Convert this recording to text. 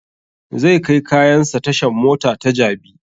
Zai kai kayan sa tashan mota ta jabi